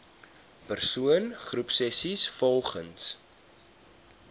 persoon groepsessies volgens